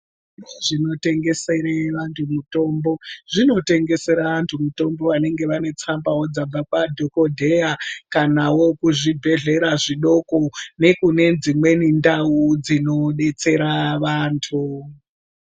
Zvitoro zvinotengesa mitombo zvinotengeserawo vabva vane tsamba dzabva kwadhokoteya kanawo zvibhedhlera zvidoko nekune dzimweni ndau dzinodetsera vantu.